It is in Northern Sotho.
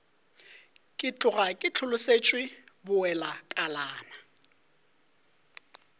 ke tloga ke hlolosetšwe bowelakalana